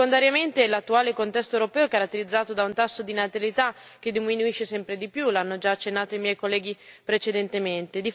Secondariamente, l'attuale contesto europeo è caratterizzato da un tasso di natalità che diminuisce sempre di più, l'hanno già accennato i miei colleghi precedentemente.